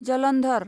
Jalandhar